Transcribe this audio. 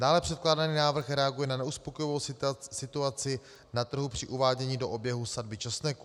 Dále předkládaný návrh reaguje na neuspokojivou situaci na trhu při uvádění do oběhu sadby česneku.